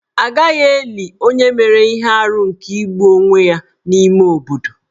A gaghị eli onye mere ihe arụ nke igbu onwe ya n'ime obodo.